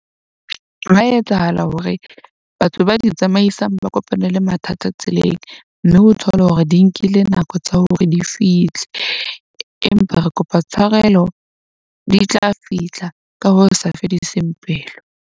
Hwa etsahala hore batho ba di tsamaisang ba kopane le mathata tseleng. Mme o thole hore di nkile nako tsa hore di fihle, empa re kopa tshwarelo di tla fihla ka ho sa fediseng pelo.